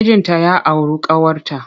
Mijinta ya auru ƙawarta.